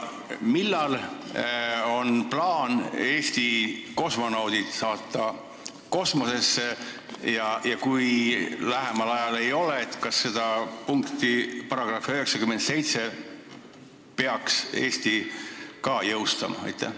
Millal on plaan Eesti inimesed kosmosesse saata ja kui seda lähemal ajal kavas ei ole, siis vahest neid punkte §-s 971 ei peaks Eestis jõustama?